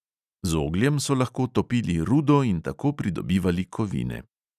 Z ogljem so lahko topili rudo in tako pridobivali kovine.